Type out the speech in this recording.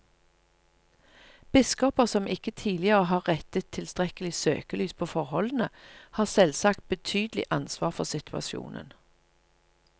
Biskoper som ikke tidligere har rettet tilstrekkelig søkelys på forholdene, har selvsagt betydelig ansvar for situasjonen.